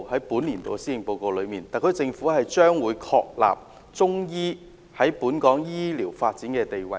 本年度的施政府報告提出，特區政府將會確立中醫藥在本港醫療發展的地位。